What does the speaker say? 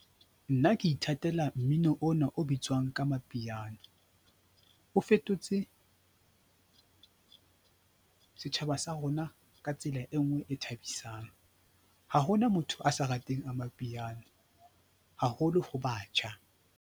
Nna ke ithatela mmino ona o bitswang ka Mapiano. O fetotse setjhaba sa rona ka tsela e nngwe e thabisang. Ha hona motho a sa rateng aMapiano, haholo ho batjha.